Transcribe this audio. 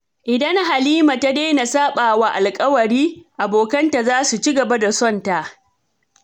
Idan Halima ta daina saɓa wa alkawari, abokanta za su ci gaba da sonta.